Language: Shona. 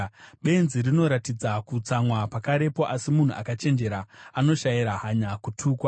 Benzi rinoratidza kutsamwa pakarepo, asi munhu akachenjera anoshayira hanya kutukwa.